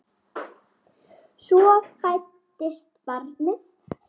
Svo fæddist barnið.